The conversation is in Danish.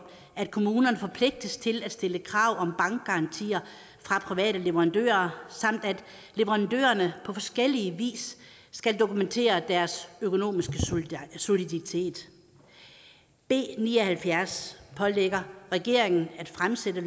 at kommunerne forpligtes til at stille krav om bankgarantier fra private leverandører samt at leverandørerne på forskellig vis skal dokumentere deres økonomiske soliditet b ni og halvfjerds pålægger regeringen at fremsætte